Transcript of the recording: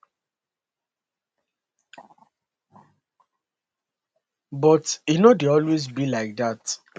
but e no dey always be like dat